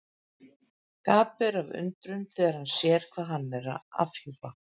Gapir af undrun þegar hann sér hvað hann er að afhjúpa.